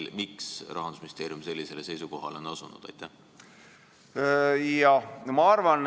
Ja miks Rahandusministeerium sellisele seisukohale on asunud?